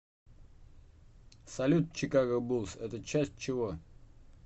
салют чикаго буллс это часть чего